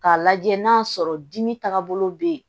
K'a lajɛ n'a sɔrɔ dimi taagabolo bɛ yen